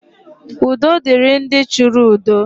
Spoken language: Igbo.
Udo dịrị ndị chọrọ udo.